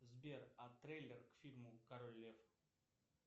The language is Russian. сбер а трейлер к фильму король лев